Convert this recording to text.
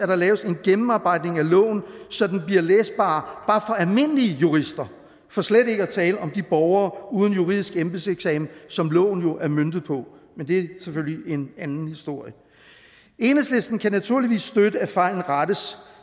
der laves en gennemarbejdning af loven så den bliver læsbar bare for almindelige jurister for slet ikke at tale om de borgere uden juridisk embedseksamen som loven jo er møntet på men det er selvfølgelig en anden historie enhedslisten kan naturligvis støtte at fejlen rettes